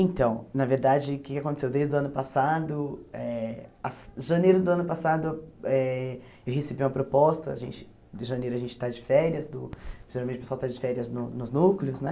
Então, na verdade, o que que aconteceu desde o ano passado, eh as janeiro do ano passado eh eu recebi uma proposta, a gente, de janeiro a gente está de férias do, geralmente o pessoal está de férias no nos núcleos, né?